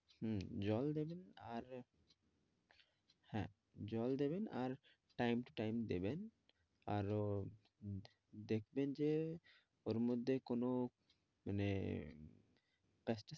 হুম জল দেবেন আর হ্যাঁ জল দেবেন আর time to time দেবেন আর দেখবেন যে এর মধ্যে কোনো মানে